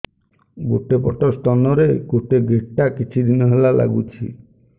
ଗୋଟେ ପଟ ସ୍ତନ ରେ ଗୋଟେ ଗେଟା କିଛି ଦିନ ହେଲା ଲାଗୁଛି